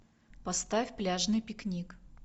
поставь пляжный пикник